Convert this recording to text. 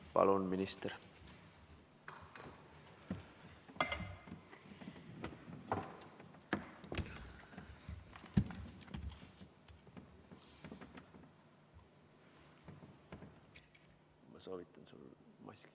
Palun, minister!